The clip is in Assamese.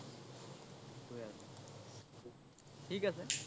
থিক আছে